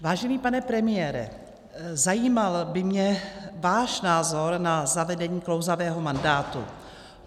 Vážený pane premiére, zajímal by mě váš názor na zavedení klouzavého mandátu.